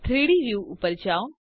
3ડી વ્યૂ ઉપર જાઓ